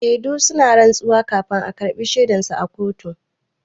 Shedu suna rantsuwa kafin a karɓa shaidan su a kotu.